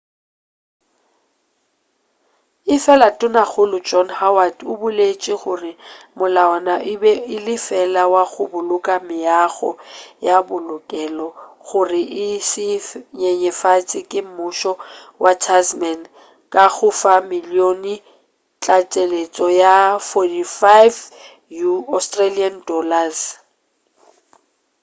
efela tonakgolo john howard o boletše gore molawana e be le fela wa go boloka meago ya bookelo gore e se nyenyefatšwe ke mmušo wa tasman ka go fa milione ya tlaleletšo ya aud$45